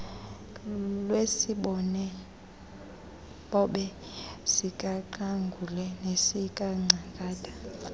lwesibobe sikaqangule nesikangcangata